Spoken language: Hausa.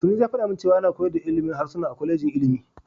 Sanusi ya faɗa min cewa ana koyar da ilimin harsuna a kwalejin ilimi.